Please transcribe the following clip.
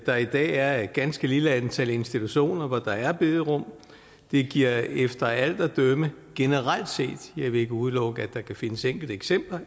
der i dag er et ganske lille antal institutioner hvor der er bederum det giver efter alt at dømme generelt set jeg vil ikke udelukke at der kan findes enkelte eksempler